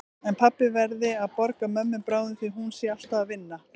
En pabbi verði að borga mömmu bráðum því hún sé alltaf að vinna.